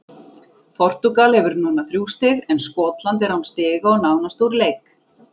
Portúgal hefur núna þrjú stig, en Skotland er án stiga og nánast úr leik.